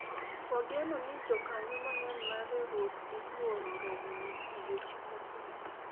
wageno ni jokanyo mang'eny mar riwruok dhi yuoro romono odiochieng' ma kliny